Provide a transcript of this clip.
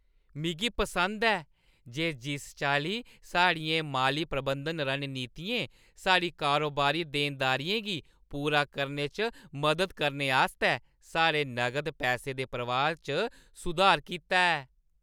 मिगी पसंद ऐ जे जिस चाल्ली साढ़ियें माली प्रबंधन रणनीतियें साढ़ियें कारोबारी देनदारियें गी पूरा करने च मदद करने आस्तै साढ़े नगद पैसे दे प्रवाह् च सुधार कीता ऐ।